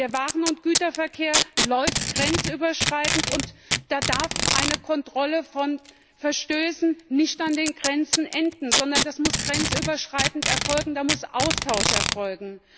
Der Waren und Güterverkehr läuft grenzüberschreitend, und da darf eine Kontrolle von Verstößen nicht an den Grenzen enden, sondern das muss grenzüberschreitend erfolgen, da muss Austausch erfolgen.